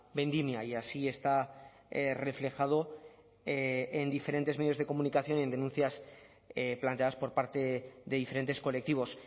vendimia y así está reflejado en diferentes medios de comunicación y en denuncias planteadas por parte de diferentes colectivos